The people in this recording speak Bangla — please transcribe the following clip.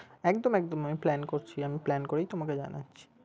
একদম একদম plan করছি আমি plan করেই তোমাকে জানাচ্ছি।